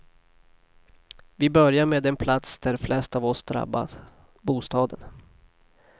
Vi börjar med den plats där flest av oss drabbas, bostaden.